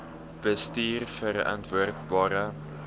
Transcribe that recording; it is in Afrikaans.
bestuurverantwoordbare